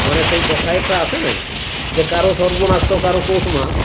মনে সেই কথায় একটা আছে নাই যে কারোর সর্বনাশ তো কারোর পৌষমাস